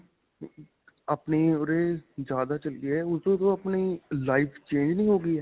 ਆਪਣੇ ਉਰੇ ਜਿਆਦਾ ਚੱਲੀ ਹੈ .ਉਸ ਤੋਂ ਆਪਣੀ life change ਨਹੀਂ ਹੋ ਗਈ ਹੈ.